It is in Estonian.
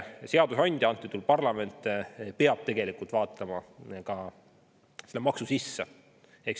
Seadusandja, antud juhul parlament, peab vaatama ka maksu sisse.